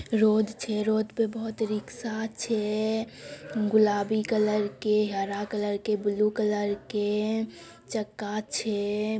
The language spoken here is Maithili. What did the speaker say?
रोड़ छे रोड़ पर बहुत रिक्शा छे गुलाबी कलर के हरा कलर के ब्लू कलर के चक्का छे।